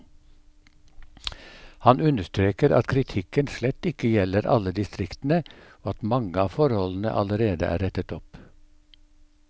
Han understreker at kritikken slett ikke gjelder alle distriktene, og at mange av forholdene allerede er rettet opp.